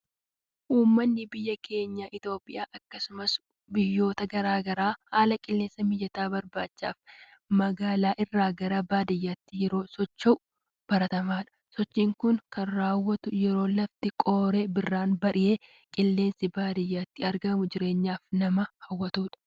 Uumanni biyya keenya Itoophiyaa akkasumas biyyoota garaagaraa haala qilleensa mijataa barbaachaaf magaalaa irraa gara baadiyyaatti yeroo inni socho'u baratamaadha, sochiin kunis kan rawwatu yeroo lafti qooree birraan bari'edha ,qilleensi baadiyyaatti argamu jireenyaaf nama hawwata.